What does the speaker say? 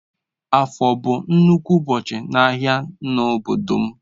Afo bu nnukwu ubochi ahia n'obodo m.